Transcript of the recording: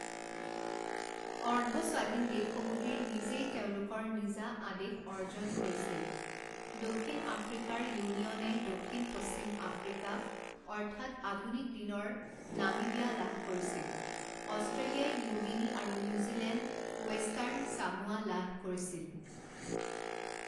অৰ্ধস্বাধীন দেশসমুহে নিজেই তেওঁলোকৰ নিজা আদেশ অৰ্জন কৰিছিল দক্ষিণ আফ্ৰিকাৰ ইউনিয়নে দক্ষিণ পশ্চিম আফ্ৰিকা অৰ্থাৎ আধুনিক দিনৰ নামিবিয়া লাভ কৰিছিল অষ্ট্ৰেলিয়াই নিউ গিনি আৰু নিউজিলেণ্ড ৱেষ্টাৰ্ণ চামোৱা লাভ কৰিছিল।